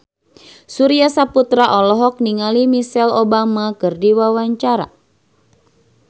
Surya Saputra olohok ningali Michelle Obama keur diwawancara